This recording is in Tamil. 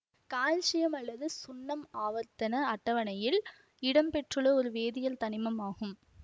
கால்சியம் அல்லது சுண்ணம் ஆவர்த்தன அட்டவணையில் இடம் பெற்றுள்ள ஒரு வேதியியல் தனிமம் ஆகும்